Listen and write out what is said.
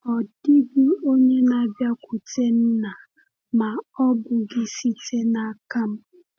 “Ọ dịghị onye na-abịakwute Nna ma ọ bụghị site n’aka m.”